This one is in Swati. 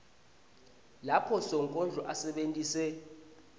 lapho sonkondlo asebentise